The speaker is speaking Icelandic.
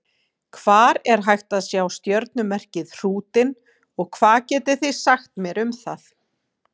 Hvar er hægt að sjá stjörnumerkið Hrútinn og hvað getið þið sagt mér um það?